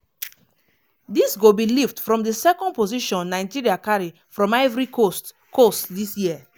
dis go be lift from di second position nigeria carry from ivory coast coast dis year.